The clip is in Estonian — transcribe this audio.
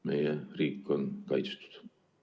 Meie riik on kaitstud.